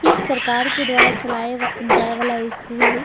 एक सरकार के द्वारा चलाए व जाए वाला स्कूल हय।